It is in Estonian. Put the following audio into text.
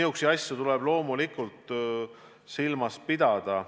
Selliseid asju tuleb loomulikult silmas pidada.